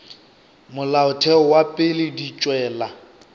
molaotheo wa pele di tšwela